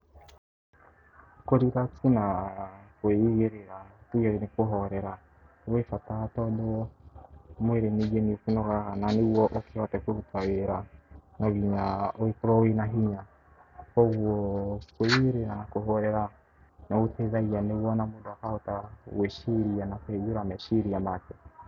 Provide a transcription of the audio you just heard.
Kũ relax na kwĩigĩrĩra tuge nĩ kũhorera gwĩ bata tondũ mwĩrĩ ningĩ nĩ ũkĩnogaga na rĩu nĩguo ũhote kũruta wĩra, no nginya ũkorwo wĩna hinya koguo kwĩigĩrĩra na kũhorera nĩ gũteithagia nĩguo o na mũndũ akahota gwĩciria na kũingĩra meciria make.